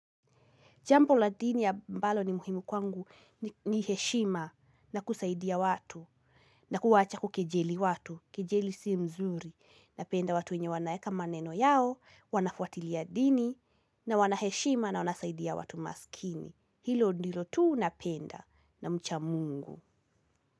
Jampo la dini yambalo ni muhimu kwangu ni heshima na kusaidia watu na kuwacha kukejeli watu, kejeli si mzuri. Napenda watu wenye wanaeka maneno yao, wanafuatilia dini na wanaheshima na wanasaidia watu maskini. Hilo ndilo tuu napenda na mchamungu.